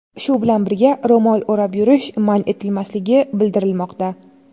Shu bilan birga, ro‘mol o‘rab yurish man etilmasligi bildirilmoqda.